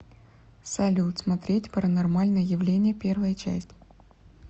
салют смотреть паранормальное явление первая часть